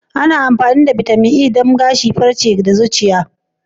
Ana amfani da bitamin E don maganin farce, gashi, har ma da zuciya.